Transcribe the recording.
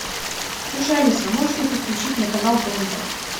слушай алиса можешь ли ты включить мне канал тнт